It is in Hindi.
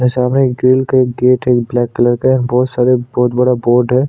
और सामने ग्रिल का गेट है ब्लैक कलर का है बहोत सारे बहोत बड़ा बोर्ड है।